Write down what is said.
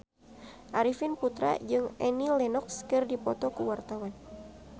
Arifin Putra jeung Annie Lenox keur dipoto ku wartawan